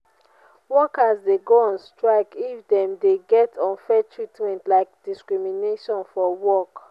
workers de go on strike if dem de get unfair treatment like discrimnation for work